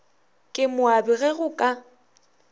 ke moabi ge go ka